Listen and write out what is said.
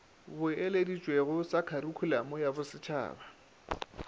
boeleditšwego sa kharikhulamo ya bosetšhaba